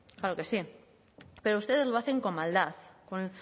claro que sí pero ustedes lo hacen con maldad